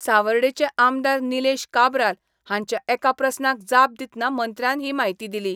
सावर्डेचे आमदार निलेश काब्राल हांच्या एका प्रस्नाक जाप दितना मंत्र्यांन ही म्हायती दिली.